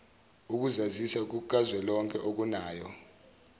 ukuzazisa kukazwelonke okunayo